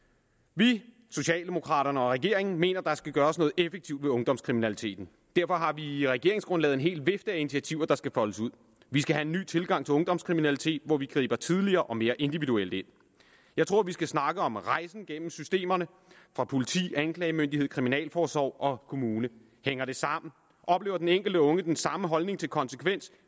vi socialdemokraterne og regeringen mener at der skal gøres noget effektivt ved ungdomskriminaliteten derfor har vi i regeringsgrundlaget en hel vifte af initiativer der skal foldes ud vi skal have en ny tilgang til ungdomskriminalitet hvor vi griber tidligere og mere individuelt ind jeg tror vi skal snakke om rejsen gennem systemerne politi anklagemyndighed kriminalforsorg og kommune hænger det sammen oplever den enkelte unge den samme holdning til konsekvens